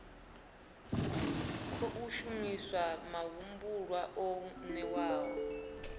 khou shumiswa mahumbulwa o newaho